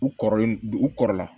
U kɔrɔlen d u kɔrɔ la